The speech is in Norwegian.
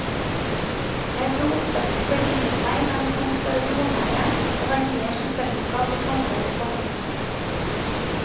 Jeg tror oppveksten beriket meg med en sans for det jordnære og verdier som fellesskap og samhold i familien.